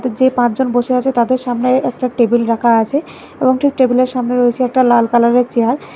যে পাঁচজন বসে আছে তাদের সামনে একটা টেবিল রাখা আসে এবং টেবিলের সামনে রয়েসে একটা লাল কালারের চেয়ার ।